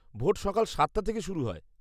Vote সকাল সাতটা থেকে শুরু হয়।